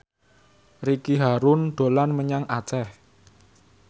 Ricky Harun dolan menyang Aceh